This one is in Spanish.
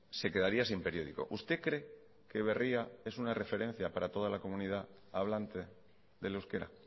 se quedaría sin periódico usted cree que berria es una referencia para toda la comunidad hablante del euskera